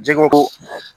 Jɛgɛ ko